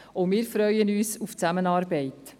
Auch wir freuen uns auf die Zusammenarbeit.